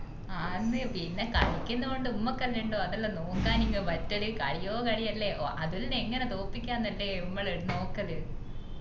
ആന്നു പിന്നെ കളിക്കുന്നോണ്ട് മ്മക്കെല്ലാം അത് നോക്കാൻ പറ്റല് കളിയോ കളിയല്ലേ അതുലിനെ എങ്ങനെ തൊപ്പിക്ക ന്നു അല്ലെ മ്മള് നോക്കല്